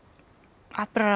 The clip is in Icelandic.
atburðarás